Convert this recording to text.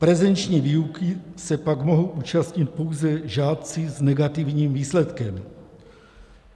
Prezenční výuky se pak mohou účastnit pouze žáci s negativním výsledkem.